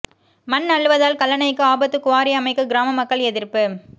மண் அள்ளுவதால் கல்லணைக்கு ஆபத்து குவாரி அமைக்க கிராம மக்கள் எதிர்ப்பு